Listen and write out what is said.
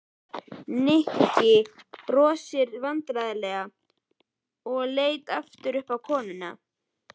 Nikki brosti loks vandræðalega og leit aftur á konuna.